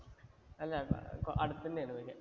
അല്ല അടുത്ത് തന്നെയായിരുന്നു